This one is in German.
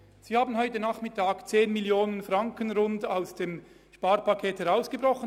Sie haben heute Nachmittag 10 Mio. Franken aus dem Sparpaket herausgebrochen.